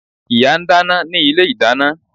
Ìyá ń dáná ní ilé-ìdáná